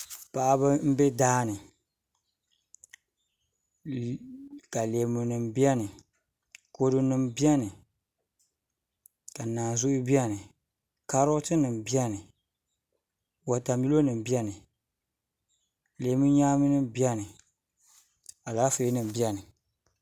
Paɣaba n bɛ daani ka leemu nim biɛni kodu nim biɛni ka naanzuu biɛni kaarot nim biɛni wotamilo nim biɛni leemu nyaami nim biɛni Alaafee nim biɛni